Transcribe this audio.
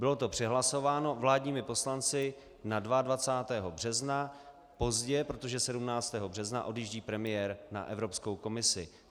Bylo to přehlasováno vládními poslanci na 22. března, pozdě, protože 17. března odjíždí premiér na Evropskou komisi.